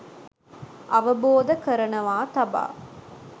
අවබෝධ කරනවා තබා